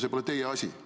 See pole teie asi.